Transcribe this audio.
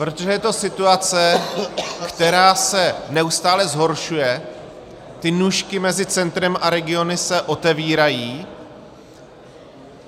Protože je to situace, která se neustále zhoršuje, ty nůžky mezi centrem a regiony se otevírají.